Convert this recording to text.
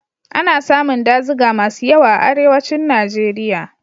Ana samun dazuka masu yawa a Arewacin Najeriya.